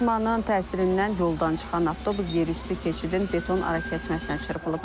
Toqquşmanın təsirindən yoldan çıxan avtobus yerüstü keçidin beton arakəsməsinə çırpılıb.